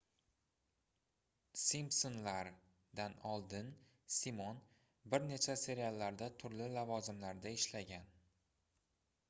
"simpsonlar"dan oldin simon bir necha seriallarda turli lavozimlarda ishlagan